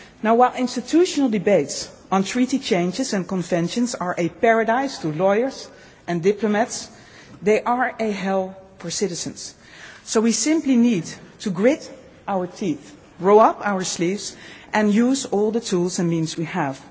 so. While institutional debates on treaty changes and conventions are a paradise for lawyers and diplomats, they are a hell for citizens. So we simply need to grit our teeth, roll up our sleeves and use all the tools and means